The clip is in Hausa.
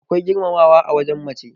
akwai girmamawa a wajen mace